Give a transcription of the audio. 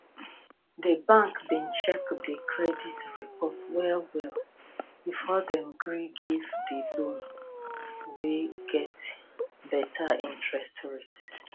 di bank bin check di credit report well well before dem gree give di loan wey get better interest rates